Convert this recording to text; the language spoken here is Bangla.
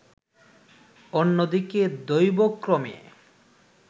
অন্যদিকে দৈবক্রমে